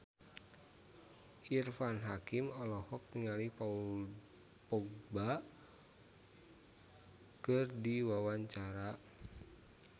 Irfan Hakim olohok ningali Paul Dogba keur diwawancara